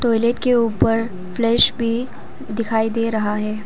Toilet के ऊपर flash भी दिखाई दे रहा है।